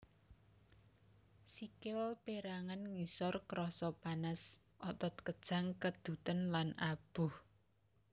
Sikil pérangan ngisor krasa panas otot kejang keduten lan aboh